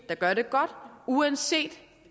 der gør det godt uanset